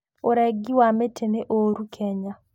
ũrengi wa mĩtĩ nĩ ũũru Kenya.